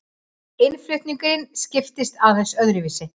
Innflutningurinn skiptist aðeins öðruvísi.